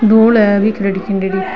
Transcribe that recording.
धूल है बिखरेड़ी खिंडेड़ी।